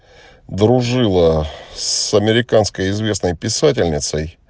дружила с американской известной писательницей